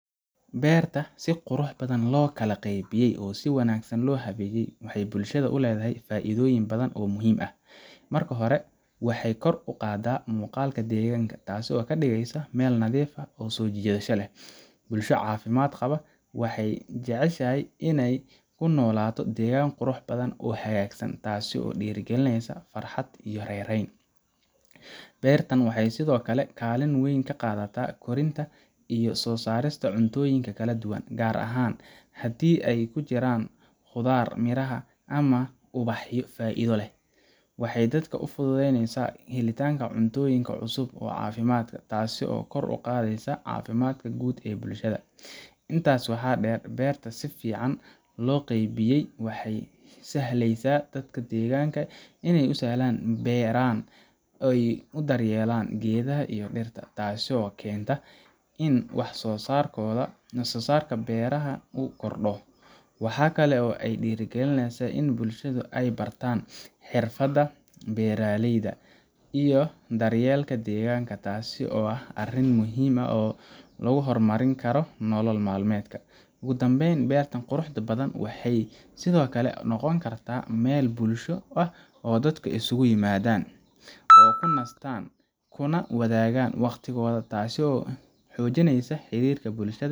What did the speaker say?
Beerta si qurux badan loo qaybiyey oo si wanaagsan loo habeeyey waxay bulshada u leedahay faa’iidooyin badan oo muhiim ah. Marka hore, waxay kor u qaadaa muuqaalka deegaanka, taasoo ka dhigaysa meel nadiif ah oo soo jiidasho leh. Bulsho caafimaad qaba waxay jeceshahay inay ku noolaato deegaan qurux badan oo hagaagsan, taasoo dhiirrigelinesa farxad iyo raynrayn. Beertan waxay sidoo kale kaalin weyn ka qaadataa korinta iyo soo saarista cuntooyinka kala duwan, gaar ahaan haddii ay ku jiraan khudaar, miraha, ama ubaxyo faa’iido leh. Waxay dadka u fududaynesaa helitaanka cuntooyin cusub oo caafimaad leh, taasoo kor u qaadaysa caafimaadka guud ee bulshada. Intaas waxaa dheer, beerta si fiican loo qaybiyey waxay u sahlaysaa dadka deegaanka inay si sahlan u beeraan oo u daryeelaan geedaha iyo dhirta, taasoo keenta in wax soo saarka beeraha uu kordho. Waxa kale oo ay dhiirrigelisaa in bulshada ay bartaan xirfadaha beeralayda iyo daryeelka deegaanka, taasoo ah arrin muhiim ah oo lagu horumarin karo nolol maalmeedka. Ugu dambayn, beertan quruxda badan waxay sidoo kale noqon kartaa meel bulsho oo dadka isugu yimaadaan, ku nastaan, kuna wadaagaan waqtigooda, taasoo xoojinaysa xiriirka bulshada.